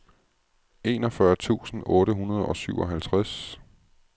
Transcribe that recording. enogfyrre tusind otte hundrede og syvoghalvtreds